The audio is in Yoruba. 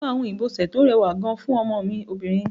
Mo máa hun ìbọ̀sẹ̀ tí ó rẹwà gan fún ọmọ mi obìnrin.